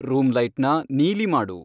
room ಲೈಟ್ನ ನೀಲಿ ಮಾಡು